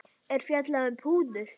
er fjallað um púður.